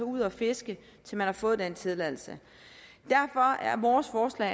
ud at fiske til man har fået den tilladelse derfor er vores forslag